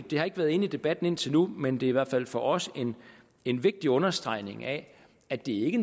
det har ikke været inde i debatten indtil nu men det er i hvert fald for os en vigtig understregning af at det ikke